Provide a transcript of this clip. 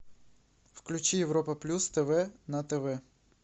включи европа плюс тв на тв